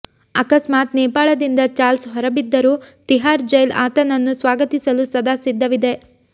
ಅಕಸ್ಮಾತ್ ನೇಪಾಳದಿಂದ ಚಾರ್ಲ್ಸ್ ಹೊರಬಿದ್ದರೂ ತಿಹಾರ್ ಜೈಲ್ ಆತನನ್ನು ಸ್ವಾಗತಿಸಲು ಸದಾ ಸಿದ್ಧವಿದೆ